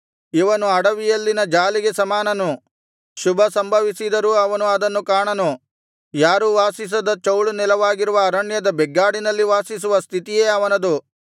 ಇವನು ಅಡವಿಯಲ್ಲಿನ ಜಾಲಿಗೆ ಸಮಾನನು ಶುಭ ಸಂಭವಿಸಿದರೂ ಅವನು ಅದನ್ನು ಕಾಣನು ಯಾರೂ ವಾಸಿಸದ ಚೌಳು ನೆಲವಾಗಿರುವ ಅರಣ್ಯದ ಬೆಗ್ಗಾಡಿನಲ್ಲಿ ವಾಸಿಸುವ ಸ್ಥಿತಿಯೇ ಅವನದು